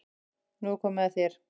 Nú er komið að þér.